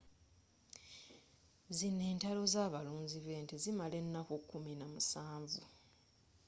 zino entalo z'abalunzi b'ente zimala ennaku kumi namusanvu